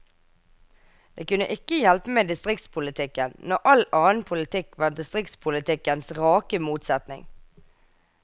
Det kunne ikke hjelpe med distriktspolitikken, når all annen politikk var distriktspolitikkens rake motsetning.